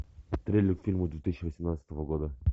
трейлер к фильму две тысячи восемнадцатого года